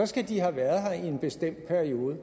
skal de have været her i en bestemt periode